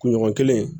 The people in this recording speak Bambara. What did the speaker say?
Kunɲɔgɔn kelen